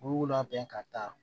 U b'u labɛn ka taa